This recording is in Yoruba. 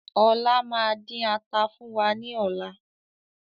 Ọlá máa din ata fún wa ní ọ̀la